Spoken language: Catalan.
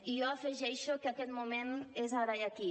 i jo afegeixo que aquest moment és ara i aquí